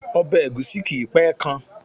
Obè ègúsí kìí pé kan